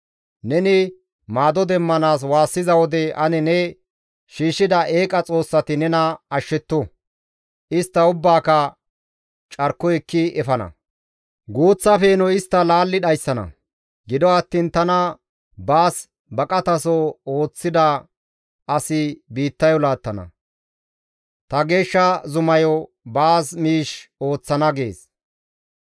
Neni maado demmanaas waassiza wode, ane ne shiishshida eeqa xoossati nena ashshetto! istta ubbaaka carkoy ekki efana; guuththa peenoy istta laalli dhayssana; gido attiin tana baas baqataso ooththida asi biittayo laattana; ta geeshsha zumayo baas miish ooththana» gees.